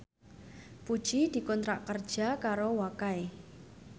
Puji dikontrak kerja karo Wakai